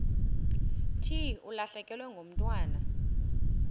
thi ulahlekelwe ngumntwana